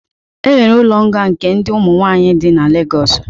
E nwere ụlo nga nke ndi ụmu nwaanyị dị na Lagos